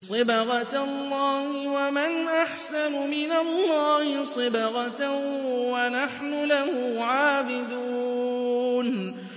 صِبْغَةَ اللَّهِ ۖ وَمَنْ أَحْسَنُ مِنَ اللَّهِ صِبْغَةً ۖ وَنَحْنُ لَهُ عَابِدُونَ